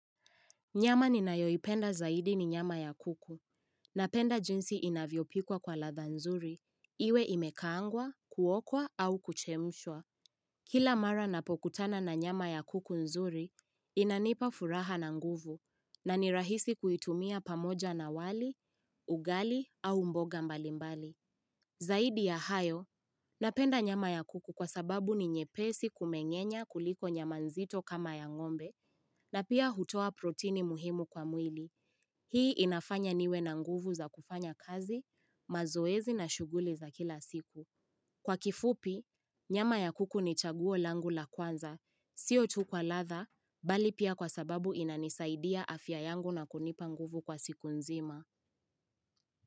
Nyama ninayoipenda zaidi ni nyama ya kuku, napenda jinsi inavyopikwa kwa ladha nzuri, iwe imekaangwa, kuokwa au kuchemshwa. Kila mara napokutana na nyama ya kuku nzuri, inanipa furaha na nguvu, na ni rahisi kuitumia pamoja na wali, ugali au mboga mbalimbali. Zaidi ya hayo, napenda nyama ya kuku kwa sababu ni nyepesi kumenyenya kuliko nyama zito kama ya ng'ombe na pia hutoa protini muhimu kwa mwili. Hii inafanya niwe na nguvu za kufanya kazi, mazoezi na shughuli za kila siku. Kwa kifupi, nyama ya kuku ni chaguo langu la kwanza, sio tu kwa ladha, bali pia kwa sababu inanisaidia afya yangu na kunipa nguvu kwa siku nzima.